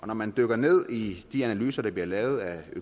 når man dykker ned i de analyser der bliver lavet af